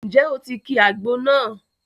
Ǹjẹ́ o ti ki àgbo náà?